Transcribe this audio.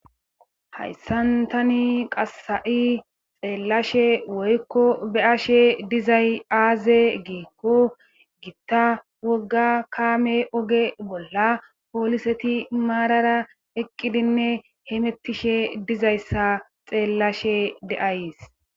Hayssan tani qasa7i xeellashe woykko be7ashe dizay aaze giikko gitta wogga kaame oge bolla pooliseti maarara eqqidinne hemettishe dizayssa xeellashe de'ays.